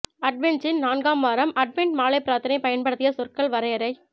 அட்வென்ச்சின் நான்காம் வாரம் அட்வென்ட் மாலை பிரார்த்தனை பயன்படுத்திய சொற்கள் வரையறை